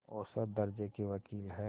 औसत दर्ज़े के वक़ील हैं